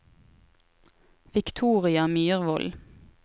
Victoria Myrvold